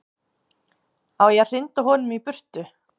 Á ég að hrinda honum í burtu?